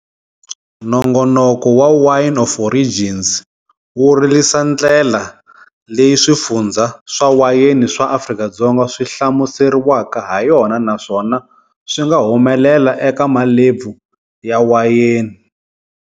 Nongonoko wa"Wine of Origins" wu lerisa ndlela leyi swifundzha swa wayeni swa Afrika-Dzonga swi hlamuseriwaka ha yona naswona swinga humelela eka malebvu ya wayeni.